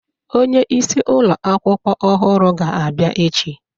Onye isi ụlọ akwụkwọ ọhụrụ ga-abịa echi